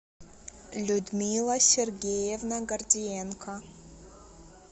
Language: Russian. людмила сергеевна гордиенко